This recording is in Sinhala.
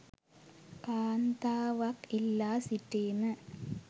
කාන්තාවක් ඉල්ලා සිටීම